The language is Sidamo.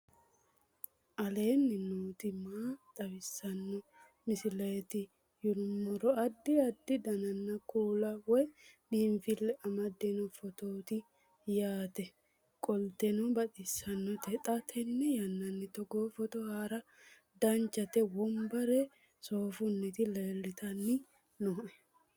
aleenni nooti maa xawisanno misileeti yinummoro addi addi dananna kuula woy biinfille amaddino footooti yaate qoltenno baxissannote xa tenne yannanni togoo footo haara danchate wombare soofunniti leltanni nooe